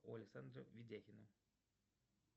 у александра видяхина